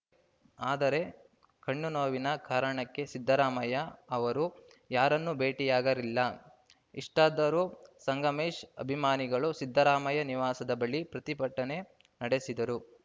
ಆದರೆ ಕಣ್ಣು ನೋವಿನ ಕಾರಣಕ್ಕೆ ಸಿದ್ದರಾಮಯ್ಯ ಅವರು ಯಾರನ್ನೂ ಭೇಟಿಯಾಗರಿಲ್ಲ ಇಷ್ಟಾದರೂ ಸಂಗಮೇಶ್‌ ಅಭಿಮಾನಿಗಳು ಸಿದ್ದರಾಮಯ್ಯ ನಿವಾಸದ ಬಳಿ ಪ್ರತಿಭಟನೆ ನಡೆಸಿದರು